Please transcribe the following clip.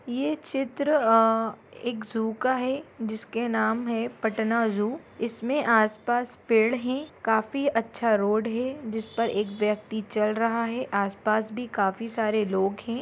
यह चित्र एक जू का है जिसके नाम है पटना जू इसमें आसपास पेड़ है काफी अच्छा रोड है जिस पर एक व्यक्ति चल रहा है आसपास भी काफी सारे लोग हैं।